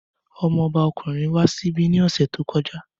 Ọmọ ọba ọkùnrin wà níbí ní ọ̀sẹ̀ tí ó kọjá